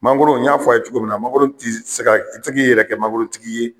Mangoro n y'a f'a' ye cogo minna mangoro ti se ka i ti se k'i yɛrɛ kɛ mangoro tigi ye